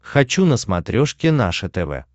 хочу на смотрешке наше тв